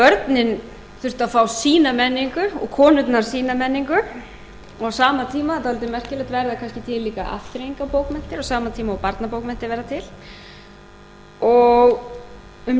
hugarfar börnin þurftu að fá sína menningu og konurnar sína menningu og á sama tíma dálítið merkilegt verða það líka pínulítið afþreyingarbókmenntir á sama tíma og barnabókmenntir verða til og um